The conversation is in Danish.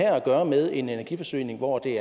gøre med en energiforsyning hvor det